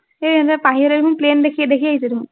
এৰ ইহঁতে পাহিহঁতে দেখোন plane দেখি দেখি আহিছে দেখোন।